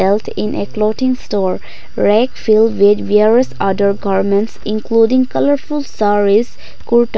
in a clothing store reck feel where various other garments including colourful saress kurta--